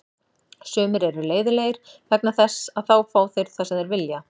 Sumir eru leiðinlegir vegna þess að þá fá þeir það sem þeir vilja.